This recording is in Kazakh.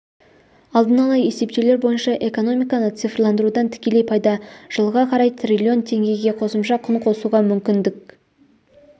алдын ала есептеулер бойынша экономиканы цифрландырудан тікелей пайда жылға қарай триллион теңгеге қосымша құн қосуға мүмкіндік